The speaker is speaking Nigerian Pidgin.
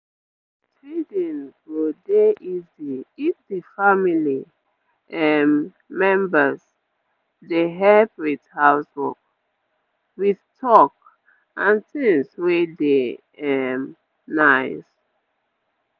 breastfeeding go dey easy if d family um members dey help with house work with talk and things wey dey um nice